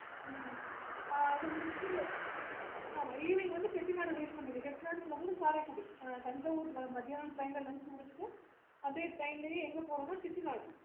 ஹம் evening வந்து chettinadchettinad to karaikudiTanjavur மத்தியானம் train ல lunch முடிச்சிட்டு